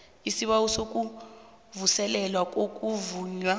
isibawo sokuvuselelwa kokuvunywa